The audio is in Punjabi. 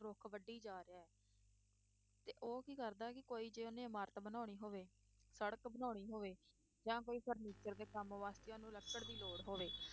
ਰੁੱਖ ਵੱਢੀ ਜਾ ਰਿਹਾ ਹੈ ਤੇ ਉਹ ਕੀ ਕਰਦਾ ਹੈ ਕਿ ਕੋਈ ਜੇ ਉਹਨੇ ਇਮਾਰਤ ਬਣਾਉਣੀ ਹੋਵੇ, ਸੜਕ ਬਣਾਉਣੀ ਹੋਵੇ ਜਾਂ ਕੋਈ furniture ਦੇ ਕੰਮ ਵਾਸਤੇ ਉਹਨੂੰ ਲੱਕੜ ਦੀ ਲੋੜ ਹੋਵੇ